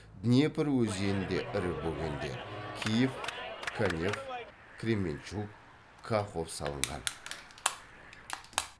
днепр өзенінде ірі бөгендер киев канев кременчуг кахов салынған